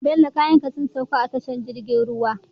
Bello kayan ka sun sauka a tashar jirgin ruwan?